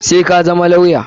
Sai ka zama lawya!